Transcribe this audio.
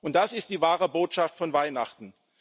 Und das ist die wahre Botschaft von Weihnachten.